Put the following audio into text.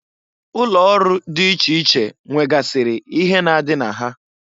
Ụlọ ọrụ di iche iche nwegasịrị ihe na-adị na ha.